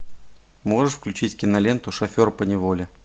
можешь включить киноленту шофер поневоле